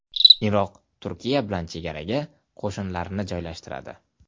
Iroq Turkiya bilan chegaraga qo‘shinlarini joylashtiradi.